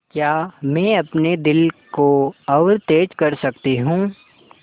क्या मैं अपने दिल को और तेज़ कर सकती हूँ